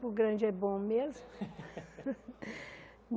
Grande é bom mesmo.